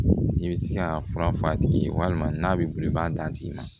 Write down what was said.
I bɛ se ka fura fɔ a tigi ye walima n'a bɛ wuli i b'a d'a tigi ma